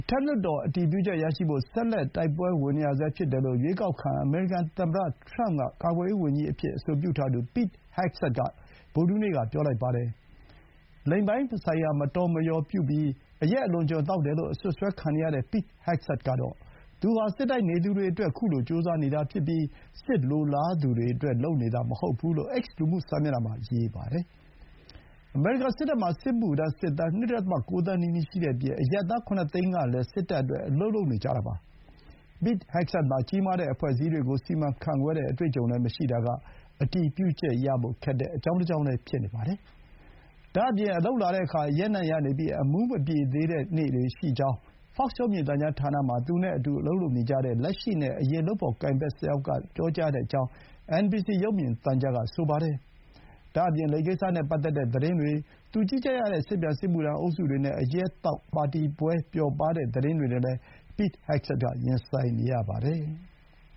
ထက်လွှတ်တော် အတည်ပြုချက် ရရှိဖို့ ဆက်လက် တိုက်ပွဲဝင်နေရဆဲ ဖြစ်တယ်လို့ အရွေးကောက်ခံ သမ္မတ က ကာကွယ်ရေး ဝန်ကြီးအဖြစ် အဆိုပြုထားသူ Pete Hegseth က ဗုဒ္ဓဟူးနေ့က ပြောပါတယ်။ လိင်ပိုင်းဆိုင်ရာ မတော်မလျော်ပြုပြီး၊ အရက် အလွန်အကျွံ သောက်တယ်လို့ အစွပ်စွဲခံနေရတဲ့ Pete Hegseth ကတော့ သူဟာ စစ်တိုက်နေသူတွေအတွက် အခုလို ကြိုးစားနေတာဖြစ်ပြီး၊ စစ်လိုလားသူတွေအတွက် လုပ်နေတာ မဟုတ်ဘူး လို့ X လူမှုစာမျက်နှာမှာ ရေးပါတယ်။ အမေရိကန် စစ်တပ်မှာ စစ်မှုထမ်း စစ်သား ၂.၉ သန်းနီးနီး ရှိတဲ့အပြင် အရပ်သား ၇ သိန်းကလည်း စစ်တပ်အတွက် အလုပ်လုပ်နေကြတာပါ။ Pete Hegseth မှာ ကြီးမားတဲ့ အဖွဲ့အစည်းတွေကို စီမံခန့်ခွဲတဲ့ အတွေ့အကြုံလည်း မရှိတာက အတည်ပြုချက်ရဖို့ ခက်တဲ့ အကြောင်းတကြောင်းလည်း ဖြစ်နေပါတယ်။ ဒါ့အပြင် အလုပ်လာတဲ့အခါ အရက်နံ့ရနေပြီး အမူးမပြေသေးတဲ့ နေ့တွေရှိကြောင်း Fox ရုပ်မြင်သံကြားဌာနမှာ သူ့နဲ့ အတူ အလုပ်လုပ်နေကြတဲ့ လက်ရှိနဲ့ အရင် လုပ်ဖော်ကိုင်ဘက် ၁၀ ယောက်က ပြောကြောင်း အင်န်ဘီစီ ရုပ်မြင်သံကြားက ဆိုပါတယ်။ ဒါ့အပြင် လိင်ကိစ္စနဲ့ ပတ်သက်တဲ့ သတင်းတွေ၊ သူ ကြီးကြပ်ရတဲ့ စစ်ပြန်စစ်မှုထမ်း အုပ်စုတွေနဲ့ အရက်သောက် ပါတီပွဲ ပျော်ပါးတဲ့ သတင်းတွေနဲ့လည်း Pete Hegseth က ရင်ဆိုင်နေရပါတယ်။